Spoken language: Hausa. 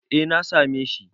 Eh, na same shi.